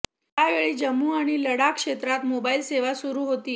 यावेळी जम्मू आणि लडाख क्षेत्रात मोबाइल सेवा सुरु होती